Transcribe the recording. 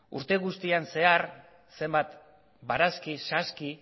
urte guztian zehar zenbat barazki saski